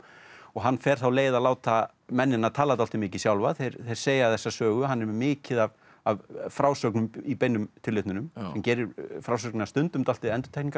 hann fer þá leið að láta mennina tala dálítið mikið sjálfa þeir segja þessa sögu hann er með mikið af af frásögnum í beinum tilvitnunum sem gerir frásögnina stundum dálítið